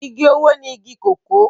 Igi owó ni igi kòkó